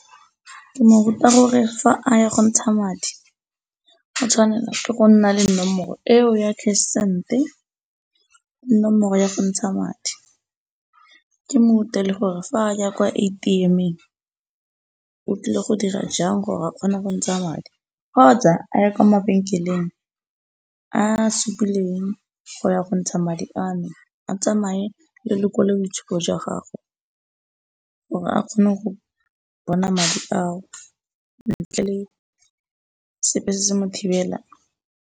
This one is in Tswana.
Ke mo ruta gore fa a ya go ntsha madi go tshwanela ke go nna le nomoro eo ya cash send-e, nomoro ya go ntsha madi. Ke mo rutile gore fa a ya kwa A_T_M-eng o tlile go dira jang gore a kgone go ntsha madi kgotsa a ye kwa mabenkeleng a a supileng go ya go ntsha madi a no a tsamaye le lekwalo boitshupo jwa gagwe gore a kgone go bona madi ao ntle le sepe se se mo thibelang.